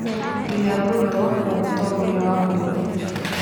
William Ruto nĩwe mũtongoria wa bũrũri rĩu.